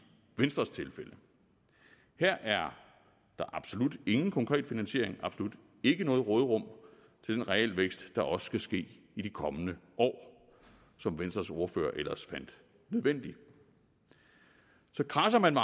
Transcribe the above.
venstres tilfælde her er der absolut ingen konkret finansiering absolut ikke noget råderum til den realvækst der også skal ske i de kommende år og som venstres ordfører ellers fandt nødvendig kradser man